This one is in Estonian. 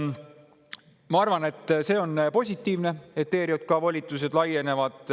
Ma arvan, et on positiivne, et ERJK volitused laienevad.